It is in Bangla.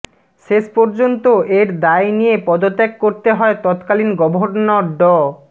শেষ পর্যন্ত এর দায় নিয়ে পদত্যাগ করতে হয় তৎকালীন গভর্নর ড